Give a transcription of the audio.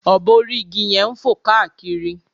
obo orí igi yẹn ń fò káàkiri